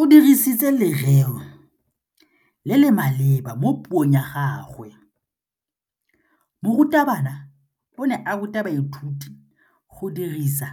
O dirisitse lerêo le le maleba mo puông ya gagwe. Morutabana o ne a ruta baithuti go dirisa